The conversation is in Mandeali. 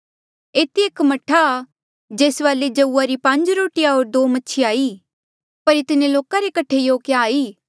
एथी एक मह्ठा आ जेस वाले जऊआ री पांज रोटीया होर दो मछिया ई पर इतने लोका रे कठे यों क्या ई